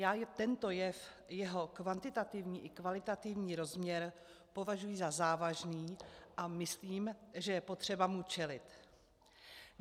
Já tento jev, jeho kvalitativní i kvantitativní rozměr považuji za závažný, a myslím, že je potřeba mu čelit.